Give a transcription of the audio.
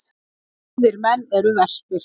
Vígðir menn eru verstir.